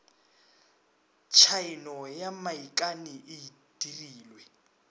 tshaeno ya moikani e dirilwe